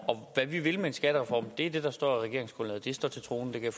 hvad vi vil med en skattereform er det der står i regeringsgrundlaget det står til troende det kan